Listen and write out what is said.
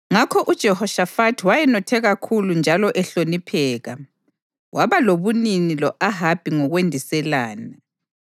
Ngakho uJehoshafathi wayenothe kakhulu njalo ehlonipheka, waba lobunini lo-Ahabi ngokwendiselana.